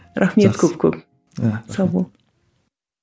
рахмет көп көп сау бол